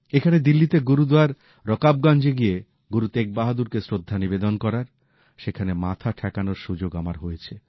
এখানে দিল্লিতে গুরুদ্বার রকাবগঞ্জ গিয়ে গুরু তেগ বাহাদুরকে শ্রদ্ধা নিবেদন করার সেখানে মাথা ঠেকানোর সুযোগ আমার হয়েছে